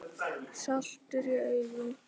Saltur í augum.